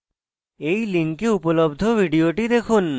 এই link উপলব্ধ video দেখুন